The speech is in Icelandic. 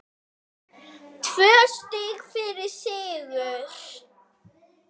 Tvö stig fyrir sigur